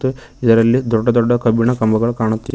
ಇದರಲ್ಲಿ ದೊಡ್ಡ ದೊಡ್ಡ ಕಬ್ಬಿಣ ಕಂಬಗಳು ಕಾಣುತ್ತಿವೆ.